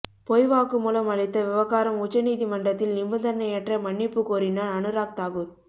பொய் வாக்குமூலம் அளித்த விவகாரம் உச்ச நீதிமன்றத்தில் நிபந்தனையற்ற மன்னிப்புக் கோரினார் அனுராக் தாக்குர்